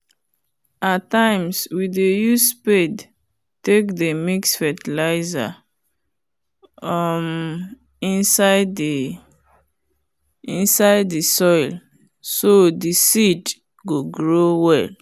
at times we dey use spade take dey mix fertilizer um inside the soil so the seed go grow well.